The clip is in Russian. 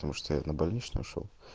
потому что я на больничный ушёл